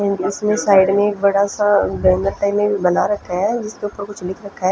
इसमें एक साइड में बड़ा सा बना रखा है जिसके ऊपर कुछ लिख रखा है।